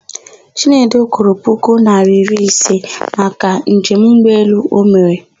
Chinedu kwụrụ puku naịra iri ise maka njem ụgbọelụ o mere.